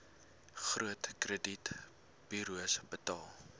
groot kredietburos betaal